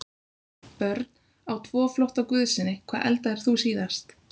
Börn: Á tvo flotta guðsyni Hvað eldaðir þú síðast?